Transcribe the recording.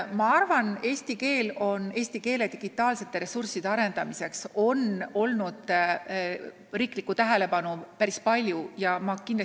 Ma arvan, et eesti keele digitaalsete kasutusalade arendamise vastu on riiklikku tähelepanu päris palju olnud.